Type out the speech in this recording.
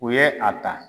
U ye a ta